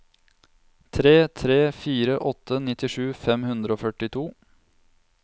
tre tre fire åtte nittisju fem hundre og førtito